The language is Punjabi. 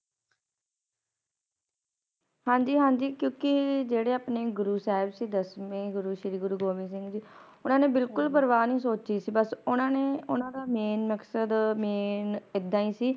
ਹਾਂਜੀ ਹਾਂਜੀ ਕਿਉਕਿ ਜਿਹੜੇ ਆਪਣੇ ਗੁਰੂ ਸਾਹਿਬ ਸੀ ਦਸਵੇਂ ਗੁਰੂ ਸ਼੍ਰੀ ਗੁਰੂ ਗੋਬਿੰਦ ਸਾਹਿਬ ਜੀ ਓਹਨਾ ਨੇ ਬਿਲਕੁਲ ਪ੍ਰਵਾਹ ਨੀ ਸੋਚੀ ਸੀ ਬਸ ਓਹਨਾ ਨੇ ਓਹਨਾ ਦਾ Main ਮਕਸਦ Main ਏਦਾਂ ਹੀ ਸੀ